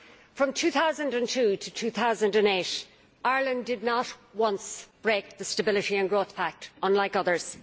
From 2002 to 2008 Ireland did not once break the Stability and Growth Pact unlike others.